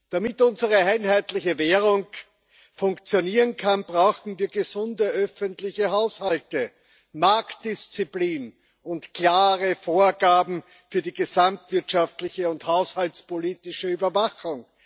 Damit unsere einheitliche Währung funktionieren kann, brauchen wir gesunde öffentliche Haushalte, Marktdisziplin und klare Vorgaben für die gesamtwirtschaftliche und haushaltspolitische Überwachung.